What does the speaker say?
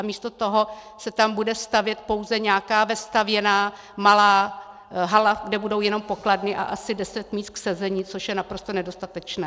A místo toho se tam bude stavět pouze nějaká vestavěná malá hala, kde budou jenom pokladny a asi deset míst k sezení, což je naprosto nedostatečné.